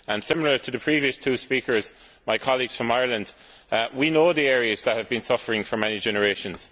Like the previous two speakers, my colleagues from Ireland, I know the areas that have been suffering for many generations.